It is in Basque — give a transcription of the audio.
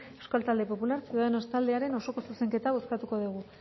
euskal talde popular ciudadanos taldearen osoko zuzenketa bozkatuko dugu